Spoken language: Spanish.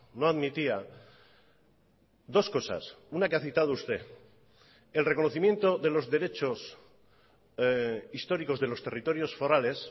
no admitía dos cosas una que ha citado usted el reconocimiento de los derechos históricos de los territorios forales